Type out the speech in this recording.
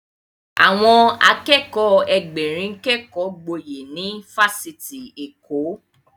Àwọn Akẹ́kọ̀ọ́ Ẹgbẹ̀rin kékọ gboyè ní ifásitì Èkó